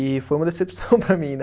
E foi uma decepção para mim, né?